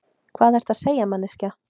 Hvað ertu að segja, manneskja?